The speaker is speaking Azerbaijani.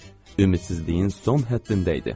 Ümidsizliyin son həddində idi.